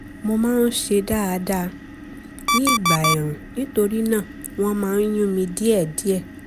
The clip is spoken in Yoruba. mo máa ń ṣe dáadáa ní ìgbà ẹ̀ẹ̀rùn nítorí náà wọ́n máa ń yún mí díẹ̀díẹ̀